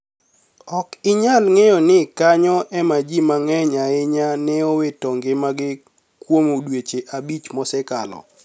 Ok iniyal nig'eyo nii kaniyo ema ji manig'eniy ahiniya ni eowito gima gi kuom dweche abich mosekalo.